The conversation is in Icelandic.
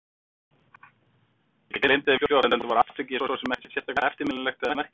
Ég gleymdi þeim fljótt, enda var atvikið svo sem ekkert sérstaklega eftirminnilegt eða merkilegt.